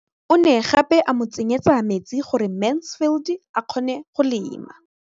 O ne gape a mo tsenyetsa metsi gore Mansfield a kgone go lema.